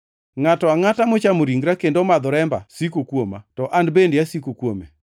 Ngʼato angʼata mochamo ringra kendo omadho remba siko kuoma, to an bende asiko kuome.